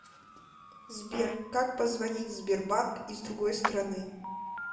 сбер как позвонить в сбербанк из другой страны